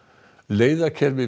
leiðakerfi